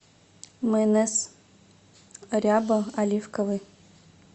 майонез ряба оливковый